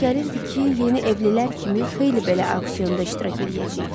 Mənə elə gəlirdi ki, yeni evlilər kimi xeyli belə auksionda iştirak eləyəcəyik.